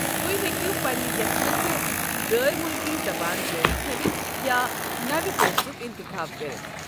تُہۍ ہیٚکو پنٕنہِ یٔژھمٕژ غٲر مٗلكی زبان جٲری تھاوِتھ یا نوِ کورسُك انتخاب کٔرتھ۔